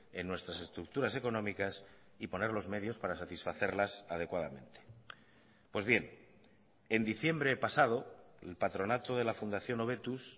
en nuestras estructuras económicas y poner los medios para satisfacerlas adecuadamente pues bien en diciembre pasado el patronato de la fundación hobetuz